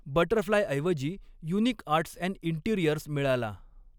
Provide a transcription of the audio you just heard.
बटरफ्लायऐवजी Unique Arts and Interiors मिळाला.